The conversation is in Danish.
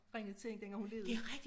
Ringet til hende dengang hun levede